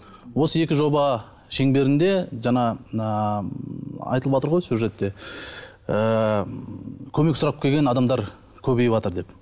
осы екі жоба шеңберінде жаңа мына айтылыватыр ғой сюжетте ыыы көмек сұрап келген адамдар көбейіватыр деп